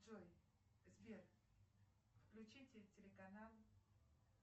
джой сбер включите телеканал